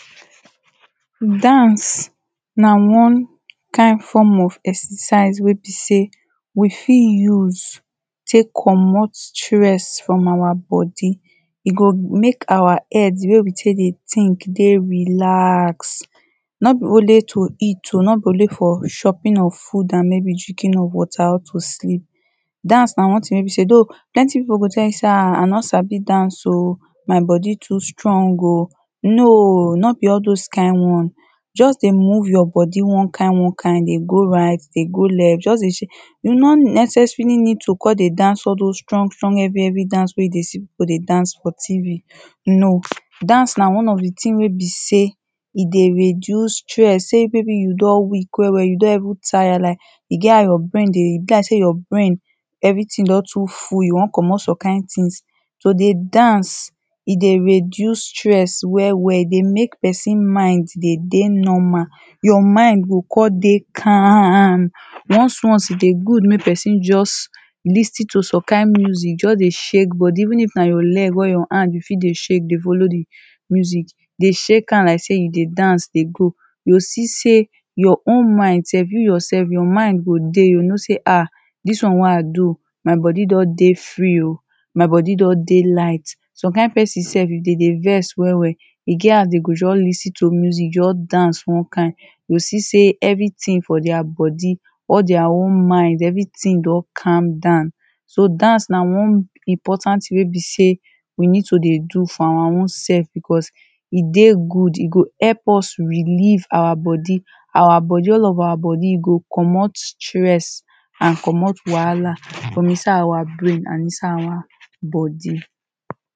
Dance na one kind form of exercise wey be sey we fit use take comot stress from our body. E go make our head wey we take dey think dey relax. No be only to eat oh. No be only for chopping of food and maybe drinking of water or to sleep. Dance na one thing wey be sey though plenty people go tell you say ha I no sabi dance oh. My body too strong oh. No!, no be all dos kind one. Just dey move your body one kind one kind, dey go right, dey go left. Just dey shake. You no necessarily need to con dey dance all dos stong strong heavy heavy dance wey you dey see people dey dance for tv, No. Dance na one of the thing wey be sey e dey reduce stress. Sey maybe you don weak well well. You don even tire like e get how your brain dey, e be like sey your brain everything don too full. You wan comot some kind things. To dey dance, e dey reduce stress well well. E dey make person mind dey dey normal. Your mind go con dey calm. Once once e dey good make person just lis ten to some kind music. Just dey shake body. Even if na you leg or your hand you fit dey shake dey follow the music, dey shake am like sey you dey dance dey go. You go see sey, your own mind self, you yourself, your mind go dey. You go know sey ha dis one wey i do, my body don dey free oh. My body don dey light. Some kind person self, if dem dey vex well well, e get as they go just lis ten to music, just dance one kind. You go see sey everything for their body, all their own mind, everything don calm down. So, dance na one important thing wey be sey we need to dey do for our own self because e dey good. E go help us relieve our body. Our body, all of our body e go comot stress and comot wahala from inside our brain and inside our body.